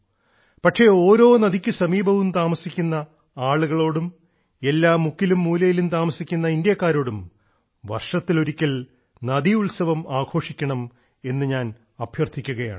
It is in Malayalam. പക്ഷേ ഓരോ നദിക്ക് സമീപവും താമസിക്കുന്ന ആളുകളോടും എല്ലാ മുക്കിലും മൂലയിലും താമസിക്കുന്ന ഇന്ത്യക്കാരോടും വർഷത്തിലൊരിക്കൽ നദി ഉത്സവം ആഘോഷിക്കണം എന്ന് ഞാൻ അഭ്യർത്ഥിക്കുകയാണ്